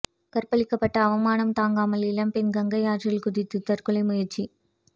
கற்பழிக்கப்பட்ட அவமானம் தாங்காமல் இளம்பெண் கங்கை ஆற்றில் குதித்து தற்கொலை முயற்சி